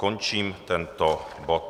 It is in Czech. Končím tento bod.